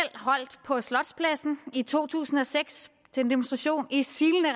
holdt på slotspladsen i to tusind og seks til en demonstration i silende